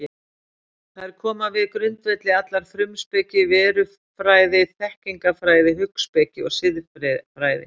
Þær koma við grundvelli allrar frumspeki, verufræði, þekkingarfræði, hugspeki og siðfræði.